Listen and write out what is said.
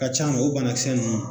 Ka ca la o bana kisɛ nunnu